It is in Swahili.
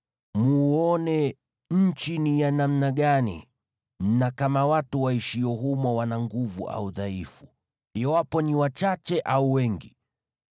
Mwone nchi ni ya namna gani, na kama watu waishio humo wana nguvu au ni wadhaifu, iwapo ni wachache au wengi.